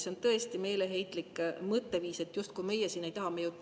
See on tõesti meeleheitlik mõtteviis, justkui meie siin ei taha seda toetada.